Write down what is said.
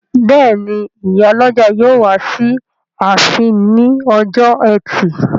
Bẹ́ẹ̀ni, ìyálọ́jà yóò wá sí ààfin ní ọjọ́ ẹtì